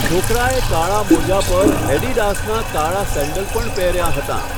છોકરાએ કાળા મોજા પર એડિડાસનાં કાળાં સેન્ડલ પણ પહેર્યાં હતાં.